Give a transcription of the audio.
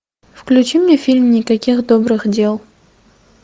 включи мне фильм никаких добрых дел